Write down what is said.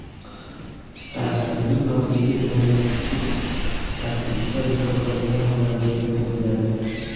taraflarning roziligi bilan yoki sud tartibida) bekor qilingan hollarda yo‘l qo‘yiladi.